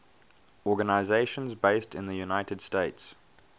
organizations based in the united states